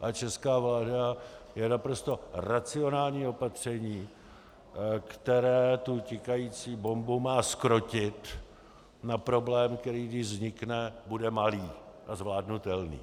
a česká vláda, je naprosto racionální opatření, které tu tikající bombu má zkrotit na problém, který když vznikne, bude malý a zvládnutelný.